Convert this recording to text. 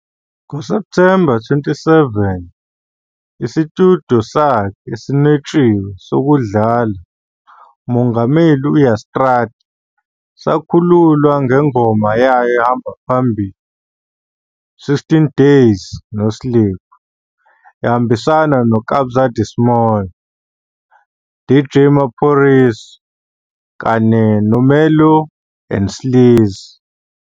NgoSepthemba 27, isitudiyo sakhe "Esinwetshiwe sokudlala, uMongameli u-Ya Straata", sakhululwa ngengoma yayo ehamba phambili, "16 Days No Sleep", ehambisana no- Kabza De Small, DJ Maphorisa kanye no-Mellow and Sleazy.